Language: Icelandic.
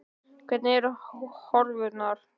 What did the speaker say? Hvernig eru horfurnar?